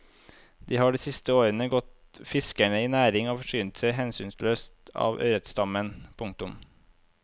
De har de siste årene gått fiskerne i næringen og forsynt seg hensynsløst av ørretstammen. punktum